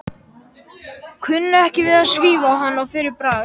Kunni ekki við að svífa á hann að fyrra bragði.